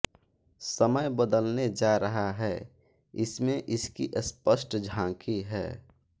समय बदलने जा रहा है इसमें इसकी स्पष्ट झाँकी है